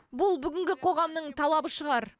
бұл бүгінгі қоғамның талабы шығар